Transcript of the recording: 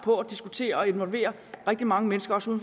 i diskussionerne og involveringen af rigtig mange mennesker også